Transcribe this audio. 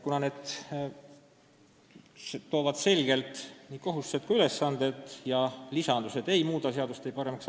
Kuna need paragrahvid sätestavad selgelt kõigi kohustused, siis võimalikud lisandused ei muudaks seadust paremaks.